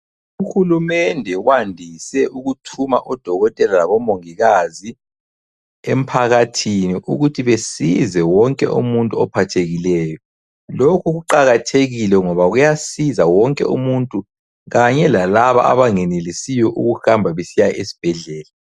Uhulumende wandise ukuthuma odokotela labomongikazi emphakathini ukuthi besize wonke umuntu ophathekileyo. Lokhu ku cakathekile ngoba kuyasiza wonke umuntu kanye lalaba abangenelisiyo ukuhamba besiya esibhedlela.